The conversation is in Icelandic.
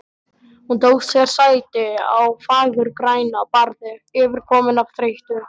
Hún tók sér sæti á fagurgrænu barði, yfirkomin af þreytu.